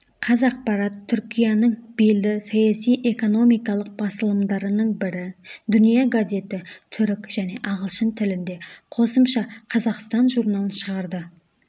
қазақпарат түркияның белді саяси-экономикалық басылымдарының бірі дүния газеті түрік және ағылшын тілінде қосымша қазақстан журналын шығарды